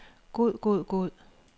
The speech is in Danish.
god god god